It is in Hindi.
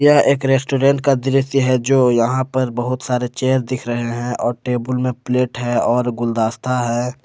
यह एक रेस्टोरेंट का दृश्य है जो यहां पर बहुत सारे चेयर दिख रहे हैं और टेबुल में प्लेट है और गुलदस्ता है।